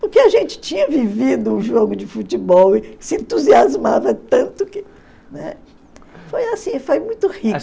Porque a gente tinha vivido um jogo de futebol e se entusiasmava tanto que, né... Foi assim, foi muito rico.